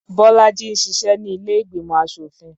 Bọ́lájí ń ṣiṣẹ́ ní ilé ìgbìmọ̀ aṣòfin.